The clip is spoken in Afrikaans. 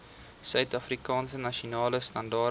suidafrikaanse nasionale standaarde